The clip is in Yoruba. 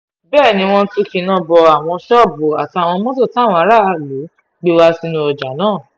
bẹ́ẹ̀ ni wọ́n tún kíná bo àwọn ṣọ́ọ̀bù àtàwọn mọ́tò táwọn aráàlú gbé wá sínú ọjà náà